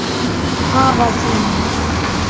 Afa þínum?